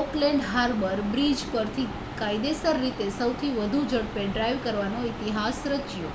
Auckland Harbour Bridge પરથી કાયદેસર રીતે સૌથી વધુ ઝડપે ડ્રાઇવ કરવાનો ઇતિહાસ રચ્યો